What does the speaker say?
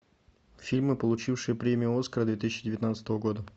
фильмы получившие премию оскар две тысячи девятнадцатого года